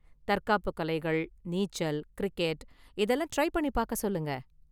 தற்காப்பு கலைகள், நீச்சல், கிரிக்கெட் இதெல்லாம் ட்ரை பண்ணி பார்க்க சொல்லுங்க.